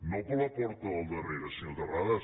no per la porta del darrera senyor terrades